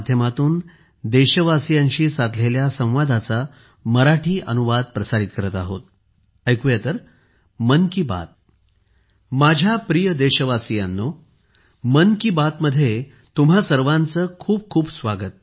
माझ्या प्रिय देशवासियांनो मन की बातमध्ये तुम्हां सर्वांचे खूप खूप स्वागत